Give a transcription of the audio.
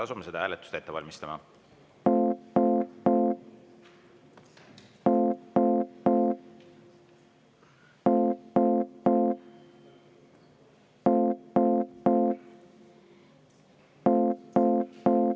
Asume seda hääletust ette valmistama.